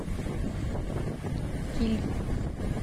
киль